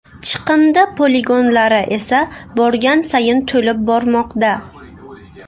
Chiqindi poligonlari esa borgan sayin to‘lib bormoqda.